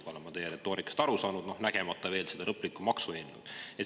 Nii olen ma teie retoorikast aru saanud, nägemata veel seda lõplikku maksueelnõu.